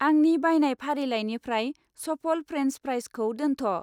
आंनि बायनाय फारिलाइनिफ्राय सफल फ्रेन्स फ्राइजखौ दोनथ'।